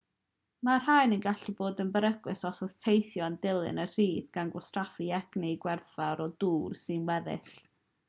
mae'r rhain yn gallu bod yn beryglus os yw'r teithiwr yn dilyn y rhith gan wastraffu egni gwerthfawr a dŵr sy'n weddill